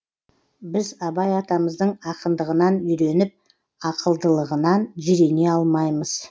біз абай атамыздың ақындығынан үйреніп ақылдылығынан жирене алмаймыз